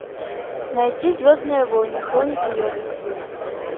найти звездные войны хроники йоды